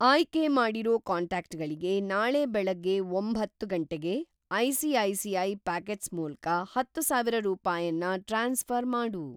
ಆಯ್ಕೆ ಮಾಡಿರೋ ಕಾಂಟ್ಯಾಕ್ಟ್‌ಗಳಿಗೆ ನಾಳೆ ಬೆಳಗ್ಗೆ ಒಂಬತ್ತು ಗಂಟೆಗೆ ಐ.ಸಿ.ಐ.ಸಿ.ಐ. ಪಾಕೆಟ್ಸ್ ಮೂಲ್ಕ ಹತ್ತುಸಾವಿರ ರೂಪಾಯನ್ನ ಟ್ರಾನ್ಸ್‌ಫ಼ರ್‌ ಮಾಡು.